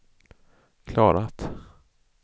klarat